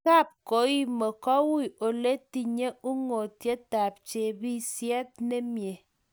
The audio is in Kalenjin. Kapkoima ko wui oletinyei ungotietap chopisiet nemie